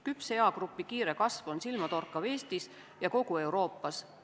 Küpse eagrupi kiire kasv on silmatorkav Eestis ja kogu Euroopas.